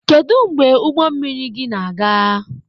Kedu mgbe ụgbọ mmiri gị na-aga?